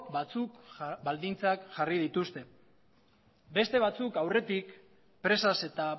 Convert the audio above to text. batzuk baldintzak jarri dituzte beste batzuk aurretik presaz eta